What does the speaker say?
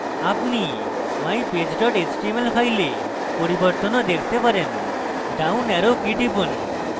আপনি mypage html ফাইলে পরিবর্তন arrow দেখতে পারেন down arrow key টিপুন